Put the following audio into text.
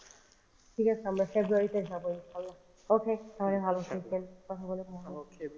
ঠিক আছে আমরা ফেব্রুয়ারিতে যাব ইনশাআল্লাহ ওকে তাহলে ভালো থাকবেন কথা বলে ভালো লাগলো